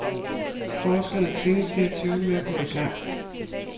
Forskerne tvinges til at tøve med at gå i gang.